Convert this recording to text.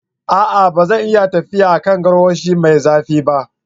A'a! ba zan iya tafiya a kan garwashi mai zafi ba.